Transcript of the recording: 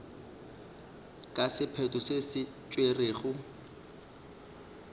ka sephetho se se tšerwego